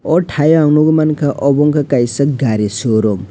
aw tai o nugui manka obo kaisa gari showroom.